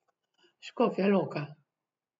Škofja Loka.